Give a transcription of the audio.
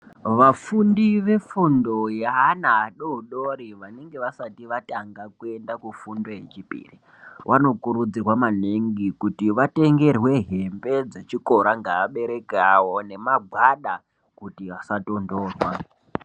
Vafundi vefundo yeana adodori vanenge vasati vatanga kuenda kufundo yechipiri vanokurudzirwa maningi kuti vatengerwe hembe dzechikora ngeabereki awo nemagwada kuti asatondorwa.